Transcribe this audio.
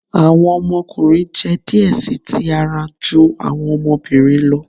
Awọn ọmọkunrin jẹ diẹ sii ti ara ju awọn ọmọbirin lọ